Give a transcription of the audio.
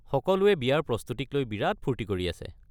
সকলোৱে বিয়াৰ প্ৰস্তুতিক লৈ বিৰাত ফূৰ্তি কৰি আছে।